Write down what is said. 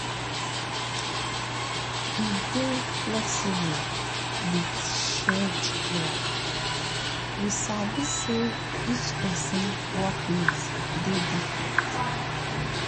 we dey flexible with shared work we sabi say each person workloads dey different